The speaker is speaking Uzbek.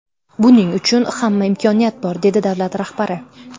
Buning uchun hamma imkoniyat bor”, dedi davlat rahbari.